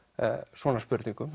svona spurningum